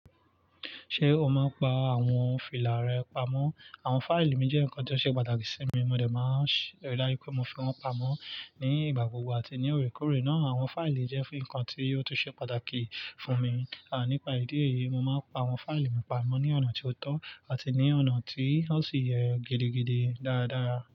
Ṣé o máa ń pa àwọn fìlà rẹ pamọ́? Àwọn fáìlì mi jẹ́ nǹkan tó ṣe pàtàkì sí mi, mo dẹ̀ máa ń ṣèlérí láyé pé mo fi wọ́n pamọ́ ní ìgbà gbogbo àti ní òkè òkè náà. Àwọn fáìlì jẹ́ fún nǹkan tí yò tún ṣe pàtàkì fún mi. À nípa ìdí èyí, mo máa ń pa àwọn fáìlì mi pamọ́ ní ọ̀nà tí ó tọ́ àti ní ọ̀nà tí ó sì yẹ gidigidi dáadáa.